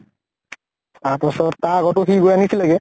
তাৰপাছত । তাৰ আগতো সি গৈ আনিছিলে গে ।